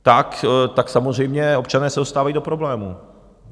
Tak samozřejmě občané se dostávají do problémů.